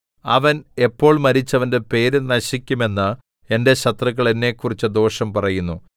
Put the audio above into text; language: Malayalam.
അവൻ എപ്പോൾ മരിച്ച് അവന്റെ പേര് നശിക്കും എന്ന് എന്റെ ശത്രുക്കൾ എന്നെക്കുറിച്ച് ദോഷം പറയുന്നു